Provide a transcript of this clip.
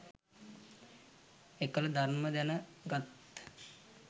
එකල ධර්මය දැන උගත්